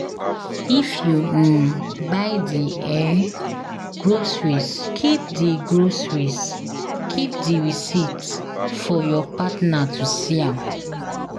If you um buy di um groceries keep di groceries keep di receipt for your partner to see am